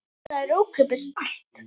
Það er ókeypis allt.